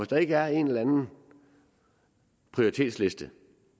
der ikke er en eller anden prioritetsliste